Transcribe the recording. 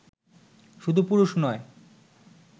শুধু পুরুষ নয়